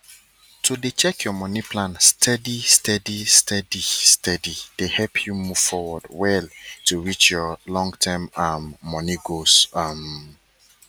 to dey check your money plan steadysteady steadysteady dey help you move forward well to reach your longterm um money goals um